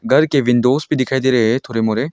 घर के विंडोज़ भी दिखाई दे रहे हैं थोड़े मोरे।